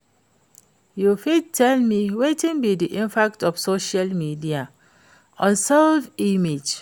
you fit tell me wetin be di impact of social media on self-image?